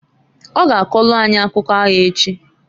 O ga akọlụ anyị akụ aya echi.